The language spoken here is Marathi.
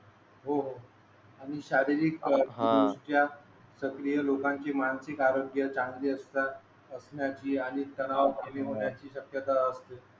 हो हो आणि शारीरिक सक्रिय लोकांची मानसिक आरोग्य चांगली असता असण्याची आणि तणाव होण्याची शक्यता असते